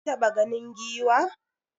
Kin taɓa ganin Giwa?